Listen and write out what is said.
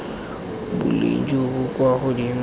boleng jo bo kwa godimo